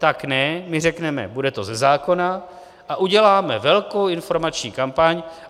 Tak ne, my řekneme, bude to ze zákona a uděláme velkou informační kampaň.